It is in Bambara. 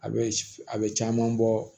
A bɛ a bɛ caman bɔ